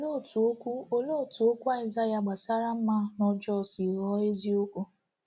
Olee otú okwu Olee otú okwu Isaiah gbasara mma na ọjọọ si ghọọ eziokwu?